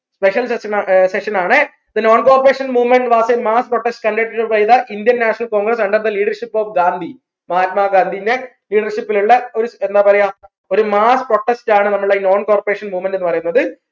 special special session ആണേ the non corporation movement was in mass protest indian national congress under the leadership of Gandhi മഹാത്മാഗാന്ധിന്റെ leadership ൽ ഉള്ള ഒരു എന്നാ പറയാ ഒരു mass protest ആണ് non corporation movement ന്ന് പറയുന്നത്